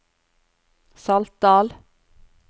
Saltdal